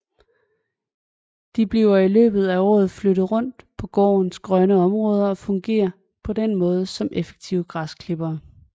De bliver i løbet af året flyttet rundt på gårdens grønne områder og fungerer på den måde som effektive græsklippere